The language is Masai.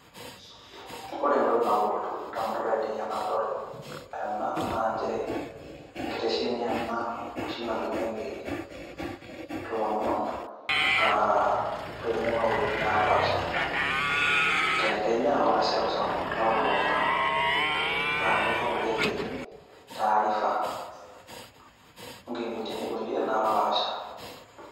Ore entoki nalotu in`damunot ainei tenadol ena naa nchere enkitesheni ena oshi natumieki ilomon aa loing`uaa nkuapi naapaasha te Kenya o te seuseu nalulung`a naa ninye oshi ing`orieki taarifa o nkipintini napaasaha.